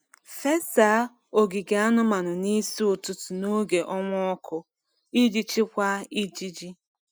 Fesa ogige anụmanụ n’isi ụtụtụ n’oge ọnwa ọkụ iji chịkwaa ijiji.